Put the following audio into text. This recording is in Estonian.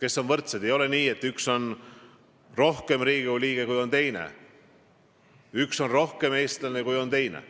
Ei ole nii, et mõni inimene on rohkem Riigikogu liige kui mõni teine, et üks on rohkem eestlane kui teine.